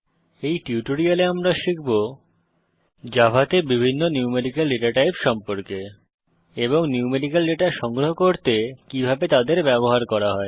এই টিউটোরিয়ালে আমরা শিখব জাভাতে বিভিন্ন ন্যূমেরিকাল ডেটা টাইপ সম্পর্কে এবং ন্যূমেরিকাল ডেটা সংগ্রহ করতে কিভাবে তাদের ব্যবহার করা হয়